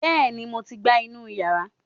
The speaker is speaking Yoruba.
bẹẹni mo ti gbá inú yàrá